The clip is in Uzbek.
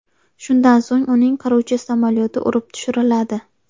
Shundan so‘ng uning qiruvchi samolyoti urib tushiriladi.